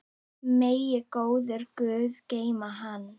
Megi góður guð geyma hann.